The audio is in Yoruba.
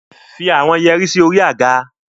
Put the earrings on the chair